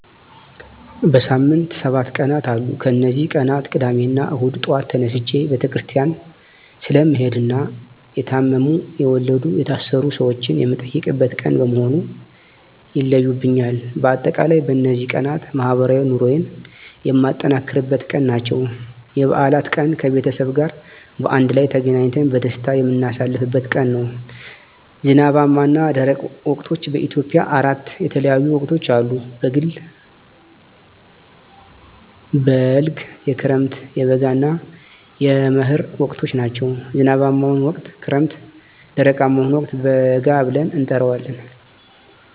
በሳምንት ሰባት ቀናት አሉ ከነዚህ ቀናት ቅዳሜና እሁድ ጧት ተነስቸ ቤተክርስቲያን ስለምሄድና የታመሙ፣ የወለዱ፣ የታሰሩ ሰወችን የምጠይቅበት ቀን በመሆኑ ይለዩብኛል። በአጠቃላይ በነዚህ ቀናት ማህበራዊ ኑሮየን የማጠናክርበት ቀን ናቸው። *የበዓላት ቀን፦ ከቤተሰብ ጋር በአንድ ላይ ተገናኝተን በደስታ የምናሳልፍበት ቀን ነው። *ዝናባማና ደረቅ ወቅቶች፦ በኢትዮጵያ አራት የተለያዩ ወቅቶች አሉ፤ የበልግ፣ የክረምት፣ የበጋ እና የመህር ወቅቶች ናቸው። *ዝናባማውን ወቅት ክረምት *ደረቃማውን ወቅት በጋ ብለን እንጠራዋለን።